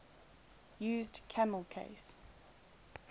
used camel case